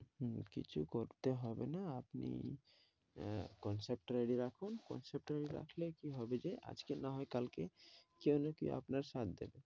হম কিছু করতে হবে না আপনি আহ concept টা ready রাখুন concept টা ready রাখলে কি হবে যে আজকে না হয় কালকে কেউ না কেউ আপনার সাথ দেবে,